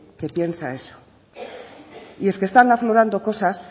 que piensa eso y es que están aflorando cosas